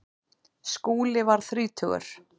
Skúli varð þrítugur.